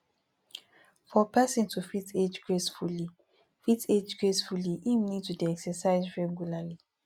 for person to fit age gracefully fit age gracefully im need to dey exercise regularly